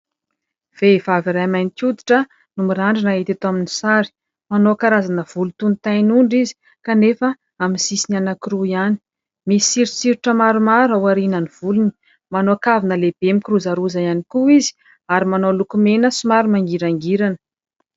Vehivavy iray mainty hoditra no mirandrana hita eto amin'ny sary. Manao karazana volo toy ny tain'ondry izy kanefa amin'ny sisiny anankiroa ihany. Misy soritsoritra maromaro ao aorianan'ny volony, manao kavina lehibe mikirozaroza ihany koa izy ary manao lokomena somary mangirangirana.